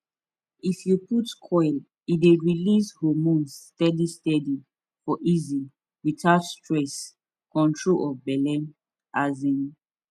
if u put coil e dey release hormones steady steady for easy without stress control of belle um